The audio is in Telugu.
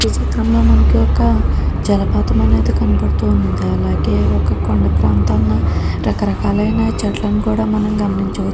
ఈ చిత్రం లో మనకి ఒక జలపాతం అనేది కనబడుతుంది అలాగే ఒక కొండ ప్రాంతం రక రకాలైన చెట్లను కూడా మనం గమనించవచ్ --